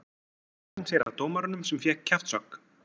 Svo sneri hann sér að dómaranum sem fékk kjaftshögg.